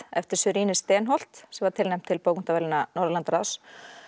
eftir Sörine Steenholdt sem var tilnefnd til bókmenntaverðlauna Norðurlandaráðs